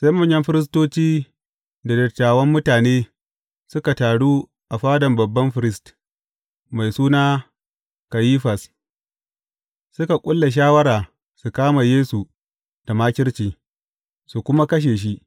Sai manyan firistoci da dattawan mutane, suka taru a fadan babban firist, mai suna Kayifas, suka ƙulla shawara su kama Yesu da makirci, su kuma kashe shi.